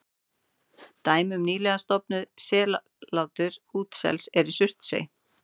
Dæmi um nýlega stofnað sellátur útsels er í Surtsey.